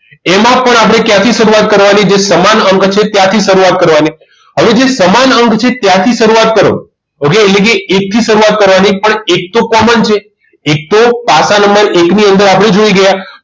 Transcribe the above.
એમાં પણ આપણે ક્યાંથી શરૂઆત કરવાની જે સમાન અંક છે ત્યાંથી શરૂઆત કરવાની હવે જે સમાન અંક છે ત્યાંથી શરૂઆત કરો okay એક થી શરૂઆત કરવાની પણ એક તો common છે એક તો પાસા નંબર એકની અંદર આપણે જોઈ ગયા